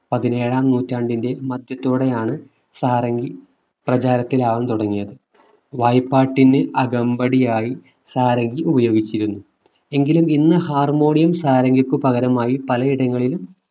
പതിനേഴാം നൂറ്റാണ്ടിന്റെ മധ്യത്തോടെയാണ് സാരംഗി പ്രചാരത്തിലാവാൻ തുടങ്ങിയത് വായ്പാട്ടിനു അകമ്പടിയായി സാരംഗി ഉപയോഗിച്ചിരുന്നു എങ്കിലും ഇന്ന് harmonium സാരംഗിക്ക് പകരമായി പലയിടങ്ങളിലും